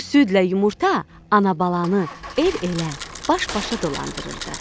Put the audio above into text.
Bu südlə yumurta ana-balanı el-elə, baş-başa dolandırırdı.